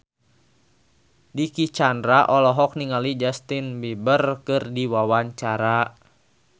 Dicky Chandra olohok ningali Justin Beiber keur diwawancara